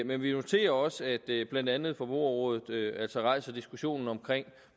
men vi noterer også at blandt andet forbrugerrådet rejser diskussionen omkring